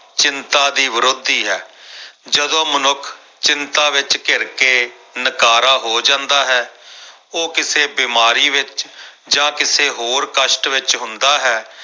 ਚਿੰਤਾ ਦੀ ਵਿਰੋਧੀ ਹੈ ਜਦੋਂ ਮਨੁੱਖ ਚਿੰਤਾ ਵਿੱਚ ਘਿਰ ਕੇ ਨਕਾਰਾ ਹੋ ਜਾਂਦਾ ਹੈ ਉਹ ਕਿਸੇ ਬਿਮਾਰੀ ਵਿੱਚ ਜਾਂ ਕਿਸੇ ਹੋਰ ਕਸ਼ਟ ਵਿੱਚ ਹੁੰਦਾ ਹੈ।